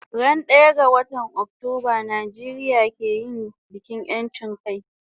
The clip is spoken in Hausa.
Ran daya ga watan Octoba Nijeria ke yin bikin yanchin kai